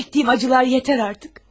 Çəkdiyim acılar yetər artıq.